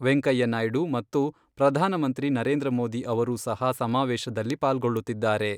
M. Venkaiah Naidu ಮತ್ತು ಪ್ರಧಾನಮಂತ್ರಿ ನರೇಂದ್ರ ಮೋದಿ ಅವರೂ ಸಹ ಸಮಾವೇಶದಲ್ಲಿ ಪಾಲ್ಗೊಳ್ಳುತ್ತಿದ್ದಾರೆ.